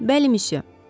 Bəli, missiyə.